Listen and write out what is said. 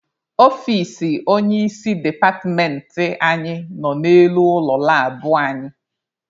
Ọfici onye isi departmentị anyị nọ n'elu ụlọ labụ anyị.